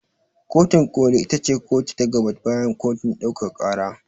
Kotin ƙoli ita ce kotu ta gaba bayan kotun ɗaukaka ƙara.